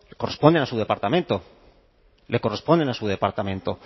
corresponden a su departamento le corresponden a su departamento